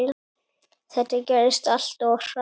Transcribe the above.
Þetta gerðist allt of hratt.